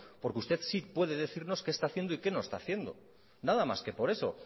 porque usted sí puede decirnos que está haciendo y que no está haciendo nada más que por eso